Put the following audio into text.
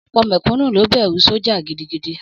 Ọ̀pọ̀ mẹ̀kúnnù ló bẹ̀rù sọ́jà gidigidi.